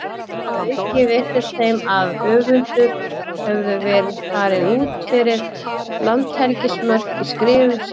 Þar að auki virtist þeim að höfundur hefði farið út fyrir landhelgismörk í skrifum sínum.